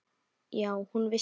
Já, hún vissi það.